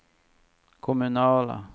kommunala